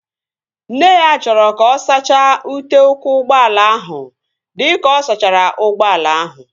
Nne ya chọrọ ka ọ sachaa ute ụkwụ ụgbọala ahụ dịka ọ sachara ụgbọala ahụ